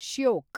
Shyok